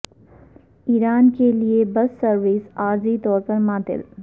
ایران کے لیے bus service عارضی طور پر معطل